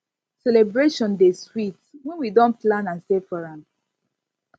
celebration dey sweet when we don plan and save for am